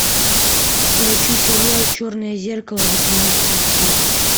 включи сериал черное зеркало восемнадцатая серия